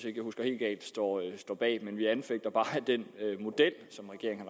ikke husker helt galt står bag vi anfægter bare den model som regeringen